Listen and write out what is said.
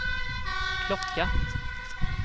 klocka